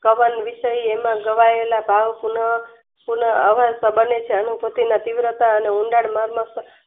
કમલ વિષય એના ગવાયેલા ભાવ પુનઃ સુનહ અવશ્ય બને છે. અણુધુંટીના પીવરતા અને ઊંડાણ માં મસ્ત